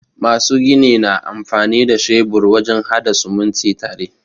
Masu gini na amfani da shebur wajen haɗa sumunti tare.